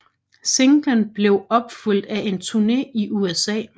Singlen blev opfulgt af en turne i USA